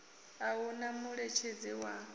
a hu na muṋetshedzi wa